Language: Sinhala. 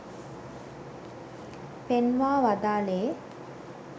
පෙන්වා වදාළේ